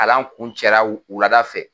Kalan kuncɛ la wu wulada fɛ.